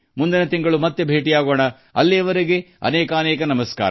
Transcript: ನಾವು ಮುಂದಿನ ತಿಂಗಳು ಮತ್ತೆ ಭೇಟಿಯಾಗೋಣ ಅಲ್ಲಿಯವರೆಗೆ ಅನೇಕ ಧನ್ಯವಾದಗಳು